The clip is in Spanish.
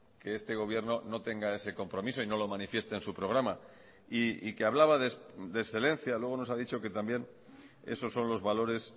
que este gobierno no tenga ese compromiso y no lo manifieste en su programa y que hablaba de excelencia luego nos ha dicho que también esos son los valores